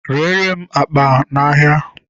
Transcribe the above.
Reere m akpa a n'ahịa!